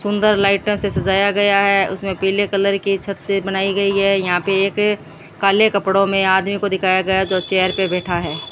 सुंदर लाइटों से सजाया गया है उसमें पीले कलर की छत से बनाई गई है यहां पे एक काले कपड़ों में आदमी को दिखाया गया जो चेयर पे बैठा है।